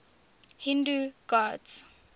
hindu gods